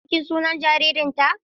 Za ku je bikin sunan jaririnta?